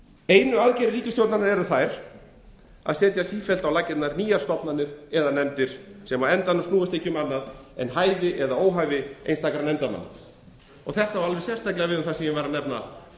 einu aðgerðir ríkisstjórnarinnar eru þær að setja sífellt á laggirnar nýjar stofnanir eða nefndir sem á endanum snúast ekki um annað en hæfi eða óhæfi einstakra nefndarmanna þetta á alveg sérstaklega við um það sem ég var að